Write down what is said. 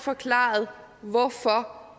forklaret hvorfor